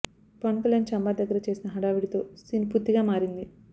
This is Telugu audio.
పవన్ కల్యాణ్ ఛాంబర్ దగ్గర చేసిన హడావుడితో సీన్ పూర్తిగా మారింది